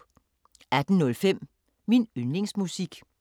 18:05: Min yndlingsmusik